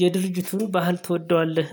የድርጅቱን ባህል ትወደዋለህ?